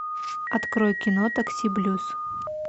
открой кино такси блюз